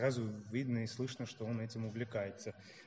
сразу видно и слышно что он этим увлекается